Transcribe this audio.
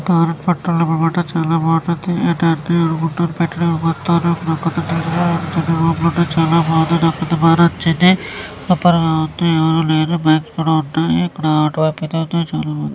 Bharat petroleum అన్నమాట. చాలా బాగుంటుంది. నాకు చాలా బాగా నచ్చింది. అక్కడైతే ఎవరు లేరు. బైక్ లు కూడా ఉన్నాయి.ఇక్కడ ఆటో